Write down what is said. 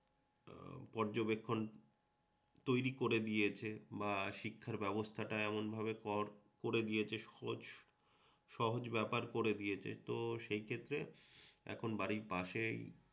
পর্যবেক্ষণ তৈরি করে দিয়েছে বা শিক্ষার ব্যবস্থাটা এমন ভাবে কর করে দিয়েছে সহজ সহজ ব্যাপার করে দিয়েছে তো সেই ক্ষেত্রে বাড়ির পাশেই